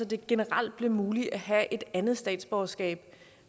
det generelt blev muligt at have et andet statsborgerskab